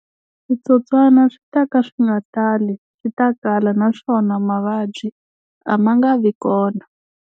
Switsotswana swi ta ka swi nga tali, swi ta kala naswona mavabyi a ma nga vi kona.